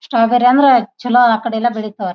strawberry ಅಂದ್ರೆ ಚಲೋ ಅಕಡೆಲ್ಲ ಬೆಳಿತಾವೆ